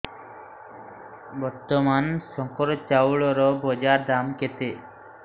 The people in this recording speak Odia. ବର୍ତ୍ତମାନ ଶଙ୍କର ଚାଉଳର ବଜାର ଦାମ୍ କେତେ